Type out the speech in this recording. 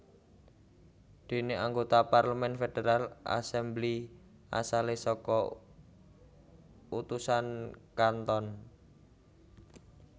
Dene anggota parlemen Federal assembly asale saka utusan canton